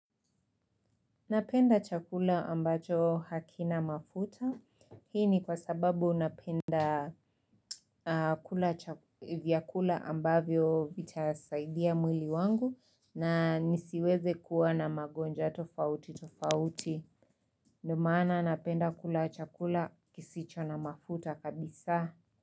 Napenda chakula ambacho hakina mafuta, hii ni kwa sababu napenda vyakula ambavyo vitasaidia mwili wangu na nisiweze kuwa na magonjwa tofauti tofauti. Ndio maana napenda kula chakula kisicho na mafuta kabisa.